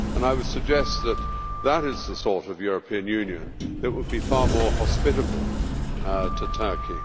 I would suggest that this is the sort of European Union that would be far more hospitable to Turkey.